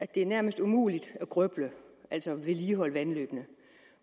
det nærmest umuligt at grøble altså at vedligeholde vandløbene